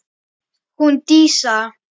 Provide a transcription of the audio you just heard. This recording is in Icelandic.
Hún Dísa?